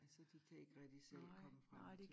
Så de kan ikke rigtig selv komme frem til